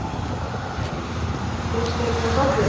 Hödd: Finnst þér þau falleg?